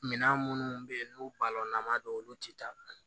Minan minnu bɛ yen n'u balɔn na an ma don olu tɛ taa